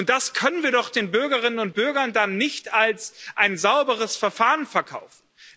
Das können wir doch den Bürgerinnen und Bürgern dann nicht als ein sauberes Verfahren verkaufen.